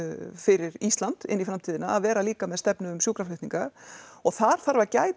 fyrir Ísland inn í framtíðina að vera líka með stefnu um sjúkraflutninga og þar þarf að gæta